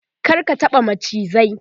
kar ka taɓa macizai!